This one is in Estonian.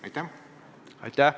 Aitäh!